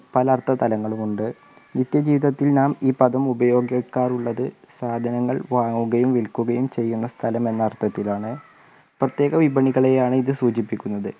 പല അർത്ഥതലങ്ങളുണ്ട് നിത്യജീവിതത്തിൽ നാം ഈ പദം ഉപയോഗിക്കാറുള്ളത് സാധനങ്ങൾ വാങ്ങുകയും വിൽക്കുകയും ചെയ്യുന്ന സ്ഥലം എന്ന അർത്ഥത്തിലാണ് പ്രത്യേകം വിപണികളെയാണ് ഇത് സൂചിപ്പിക്കുന്നത്